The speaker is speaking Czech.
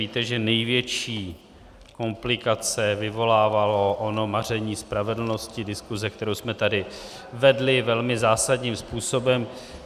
Víte, že největší komplikace vyvolávalo ono maření spravedlnosti, diskuse, kterou jsme tady vedli velmi zásadním způsobem.